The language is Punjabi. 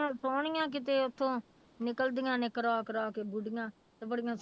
ਸੋਹਣੀਆਂ ਕਿਤੇ ਉੱਥੋਂ ਨਿਕਲਦੀਆਂ ਨੇ ਕਰਾ ਕਰਾ ਕੇ ਬੁੜੀਆਂ ਤੇ ਬੜੀਆਂ